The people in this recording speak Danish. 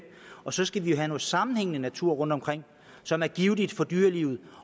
og så skal vi have noget sammenhængende natur rundtomkring som er givtigt for dyrelivet